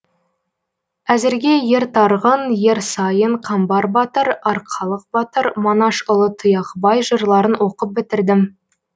әзірге ер тарғын ер сайын қамбар батыр арқалық батыр манашұлы тұяқбай жырларын оқып бітірдім